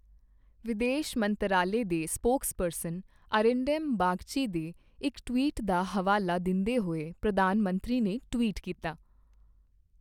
ਵਿਦੇਸ਼ ਮੰਤਰਾਲੇ ਦੇ ਸਪੋਕਸਪਰਸਨ ਅਰਿੰਡੈਮਬਾਗਚੀ ਦੇ ਇੱਕ ਟਵੀਟ ਦਾ ਹਵਾਲਾ ਦਿੰਦੇਹੋਏ, ਪ੍ਰਧਾਨ ਮੰਤਰੀ ਨੇ ਟਵੀਟ ਕੀਤਾ